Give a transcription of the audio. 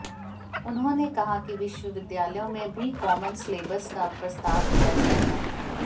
उन्होंने कहा कि विश्वविद्यालयों में भी कॉमन सिलेबस का प्रस्ताव किया जाएगा